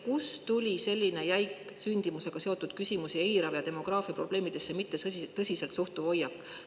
Kust tuli selline jäik sündimusega seotud küsimusi eirav ja demograafiaprobleemidesse mitte tõsiselt suhtuv hoiak?